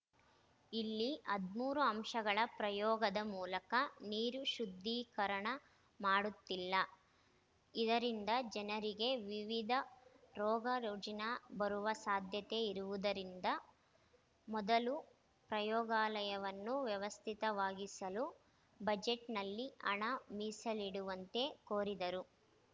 ಇಲ್ಲಿ ಹದಿಮೂರು ಅಂಶಗಳ ಪ್ರಯೋಗದ ಮೂಲಕ ನೀರು ಶುದ್ಧೀಕರಣ ಮಾಡುತ್ತಿಲ್ಲ ಇದರಿಂದ ಜನರಿಗೆ ವಿವಿಧ ರೋಗ ರುಜಿನ ಬರುವ ಸಾಧ್ಯತೆ ಇರುವುದಿರಂದ ಮೊದಲು ಪ್ರಯೋಗಾಲಯವನ್ನು ವ್ಯವಸ್ಥಿತವಾಗಿಸಲು ಬಜೆಟ್‌ನಲ್ಲಿ ಹಣ ಮೀಸಲಿಡುವಂತೆ ಕೋರಿದರು